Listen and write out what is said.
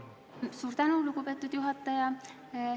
Suur tänu, lugupeetud juhataja!